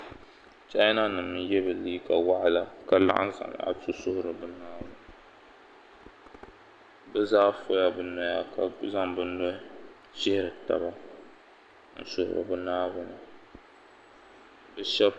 Chaina nima n ye bɛ liiga waɣala ka laɣim Zamaatu suhuri bɛ naawuni bɛ zaa fola bɛ noya ka zaŋ bɛ nuhi shihiri taba n suhiri bɛ naawuni.